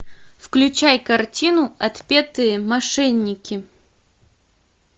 включай картину отпетые мошенники